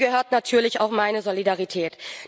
dem gehört natürlich auch meine Solidarität.